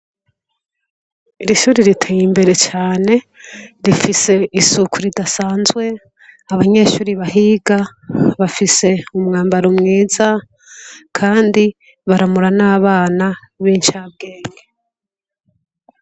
Iri shuri ritey'imbere cane, rifise isuku ridasanzwe, abanyeshuri bahiga bafise umwambaro mwiza kandi baramura n'abana bincabwenge.